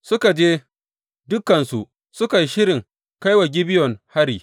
Suka je dukansu suka yi shirin kai wa Gibeyon hari.